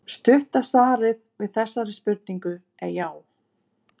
Stutta svarið við þessari spurningu er já.